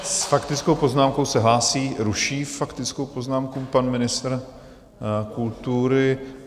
S faktickou poznámkou se hlásí, ruší faktickou poznámku pan ministr kultury.